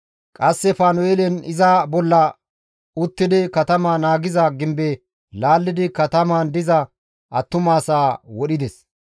Qasse Panu7eelen iza bolla uttidi katama naagiza gimbeza laallidi katamaan diza attumasaa wodhides.